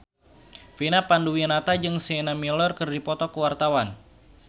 Vina Panduwinata jeung Sienna Miller keur dipoto ku wartawan